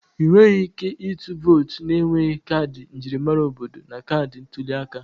Ị nweghị ike ịtụ vootu na-enweghị kaadị njirimara obodo na kaadị ntuli aka